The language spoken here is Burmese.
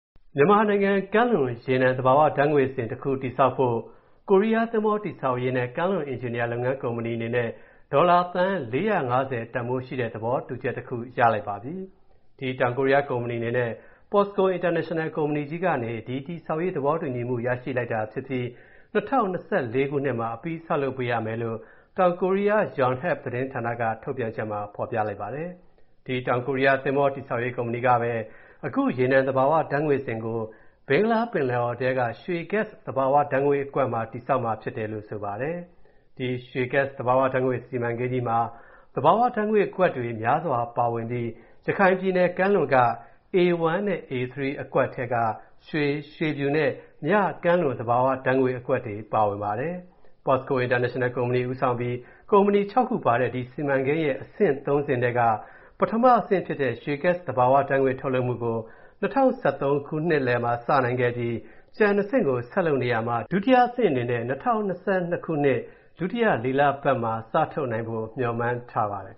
မြန်မာနိုင်ငံမှာ ကမ်းလွန် ရေနံသဘာဝဓာတ်ငွေ့သိုလှောင်ရုံတခု တည်ဆောက်ဖို့ ကိုရီးယား သဘောၤတည်ဆောက်ရေးနဲ့ ကမ်းလွန်အင်ဂျင်နီယာလုပ်ငန်းကုမ္ပဏီအနေနဲ့ ဒေါ်လာ သန်း ၄၅၀ တန်ဖိုးရှိတဲ့ သဘောတူချက်တစ်ခု ရလိုက်ပါပြီ။ ဒီတောင်ကိုရီးယားကုမ္ပဏီအနေနဲ့ Posco International ကုမ္ပဏီကြီးကနေ၊ ဒီ တည်ဆောက်ရေးသဘောတူမူ ရရှိလိုက်တာဖြစ်ပြီး၊ ၂၀၂၄ မှာ အပြီးဆောက်လုပ်ပေးရမယ်လို့ တောင်ကိုရီးယား Yonhap သတင်းဌာန ထုတ်ပြန်ချက်မှာ ဖော်ပြထားပါတယ်။ ဒီ တောင်ကိုရီးယား သင်္ဘောတည်ဆောက်ရေးကုမ္ပဏီကပဲ၊ အခုရေနံသဘာဝဓာတ်ငွေ့ သိုလှောင်ရုံကို ဘင်္ဂလားပင်လယ်အော်ထဲက ရွှေ Gas သဘာဝဓာတ်ငွေ့အကွက်မှာ တည်ဆောက်မှာဖြစ်တယ်လို့ ဆိုပါတယ်။ ဒီရွှေ Gas သဘာဝဓာတ်ငွေ့စီမံကိန်းကြီးမှာ သဘာဝဓာတ်ငွေ့ကွက်မျာစွာပါဝင်ပြီး၊ ရခိုင်ပြည်နယ်ကမ်းလွန်က A-1 နဲ့ A-3 အကွက်ထဲက ရွှေ၊ ရွှေဖြူနဲ့ မြ ကမ်းလွန်သဘာဝဓာတ်ငွေ့အကွက်တွေပါဝင်ပါတယ်။ Posco International ကုမ္ပဏီဦးဆောင်ပြီး ကုမ္ပဏီ ၆ ခုပါတဲ့၊ ဒီစီမံကိန်းရဲ့ အဆင့် ၃ ဆင့်ထဲက ပထမအဆင့်ဖြစ်တဲ့၊ ရွေ Gas သဘာဝဓာတ်ငွေ့ထုတ်လုပ်မူကို ၂၀၁၃ နှစ်လယ်မှာ စနိုင်ခဲ့ပြီး၊ ကျန် ၂ ဆင့်ကိုဆက်လုပ်နေရာမှာ၊ ဒုတိယအဆင့်အနေနဲ့ ၂၀၂၂ ဒုတိယလေးလပတ်မှာ စထုတ်နိုင်ဖို့ မျှော်မှန်းထားပါတယ်